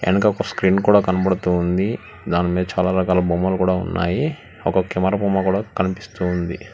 ఎనక ఒక స్క్రీన్ కూడా కనబడుతోంది దానిమీద చాలా రకాల బొమ్మలు కూడా ఉన్నాయి ఒక కెమెరా బొమ్మ కూడా కనిపిస్తుంది